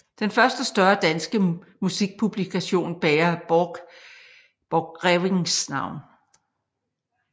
Den første større danske musikpublikation bærer Borchgrevincks navn